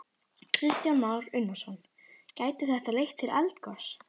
Kristján Már Unnarsson: Gæti þetta leitt til eldgoss?